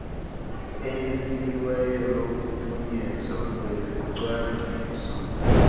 elisikiweyo lokuphunyezwa kwezicwangciso